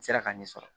N sera k'a ɲɛ sɔrɔ